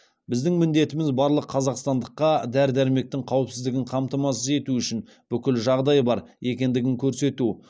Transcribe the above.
біздің міндетіміз барлық қазақстандыққа дәрі дәрмектің қауіпсіздігін қамтамасыз ету үшін бүкіл жағдай бар екендігін көрсету